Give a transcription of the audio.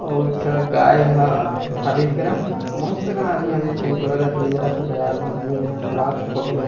और एक ठ गाय ह खाबे इहि कर अऊ बहुत अकन आदमी हवय ए जगन झोला धर कए किंजरत हे बाजार भर मे रात के फोटो हरे --